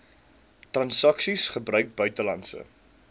transaksies gebruik buitelandse